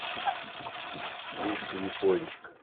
мишка япончик